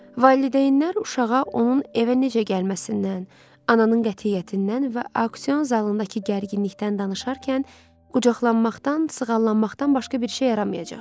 Valideynlər uşağa onun evə necə gəlməsindən, ananın qətiyyətindən və aksion zalındakı gərginlikdən danışarkən qucaqlanmaqdan, sığallanmaqdan başqa bir şey yaramayacaq.